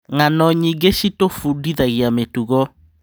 Ng'ano nyingĩ citũbundithagia mĩtugo.